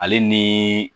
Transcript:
Ale ni